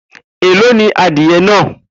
Elo ni adie naa?